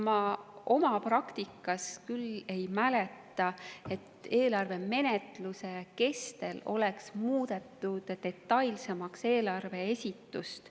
Ma oma praktikast küll ei mäleta, et eelarve menetluse kestel oleks eelarve esitust detailsemaks muudetud.